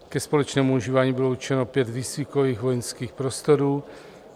Ke společnému užívání bylo určeno pět výcvikových vojenských prostorů.